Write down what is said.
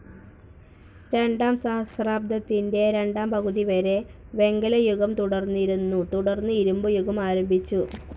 രണ്ടാം സഹസ്രാബ്ദത്തിൻ്റെ രണ്ടാം പകുതിവരെ വെങ്കലയുഗം തുടർന്നിരുന്നു തുടർന്ന് ഇരുമ്പുയുഗം ആരംഭിച്ചു.